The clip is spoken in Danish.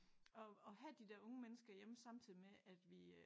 Og og have de der unge mennesker hjemme samtidig med at vi øh